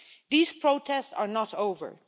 These protests are not over.